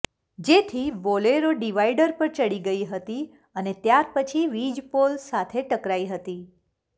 જેથી Bolero divider પર ચડી ગઈ હતી અને ત્યાર પછી વિજપોલ સાથે ટકરાઈ હતી